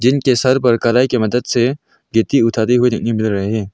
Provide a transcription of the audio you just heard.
इनके सर पर कलाई की मदद से गिट्टी उठाते हुए देखने मिल रहे हैं।